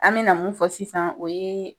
An me na mun fɔ sisan, o ye